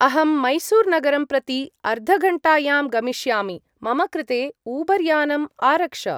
अहं मैसूर्-नगरं प्रति अर्धघण्टायां गमिष्यामि, मम कृते ऊबर् यानम् आरक्ष।